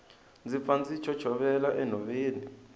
ndzi pfa ndzi chochovela enhoveni